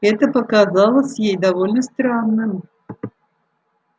это показалось ей довольно странным